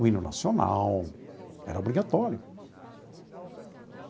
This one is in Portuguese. O Hino Nacional era obrigatório.